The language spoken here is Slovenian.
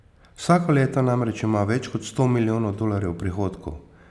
Vsako leto namreč ima več kot sto milijonov dolarjev prihodkov.